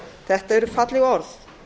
þetta eru falleg orð